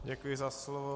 Děkuji za slovo.